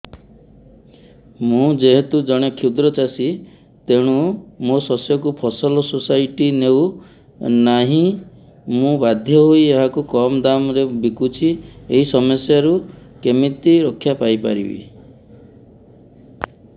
ମୁଁ ଯେହେତୁ ଜଣେ କ୍ଷୁଦ୍ର ଚାଷୀ ତେଣୁ ମୋ ଶସ୍ୟକୁ ଫସଲ ସୋସାଇଟି ନେଉ ନାହିଁ ମୁ ବାଧ୍ୟ ହୋଇ ଏହାକୁ କମ୍ ଦାମ୍ ରେ ବିକୁଛି ଏହି ସମସ୍ୟାରୁ କେମିତି ରକ୍ଷାପାଇ ପାରିବି